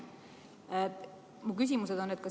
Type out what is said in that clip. Mu küsimused on järgmised.